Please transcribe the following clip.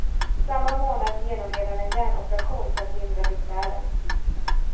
Samma månad genomled han en hjärnoperation för att lindra besvären.